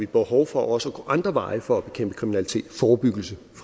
behov for også at gå andre veje for at bekæmpe kriminalitet for forebyggelse